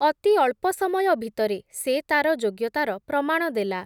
ଅତି ଅଳ୍ପ ସମୟ ଭିତରେ, ସେ ତା’ର ଯୋଗ୍ୟତାର ପ୍ରମାଣ ଦେଲା ।